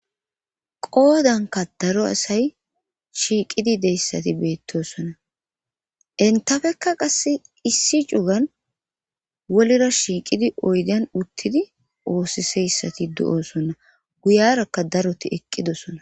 qoodanka daro asay shiiqidi deyssati beettosonna entafekka qasse issi cugan wolira shiiqidi oydan uttidi oosiseyssati do7osonna guyarakka daroti eqqidosonna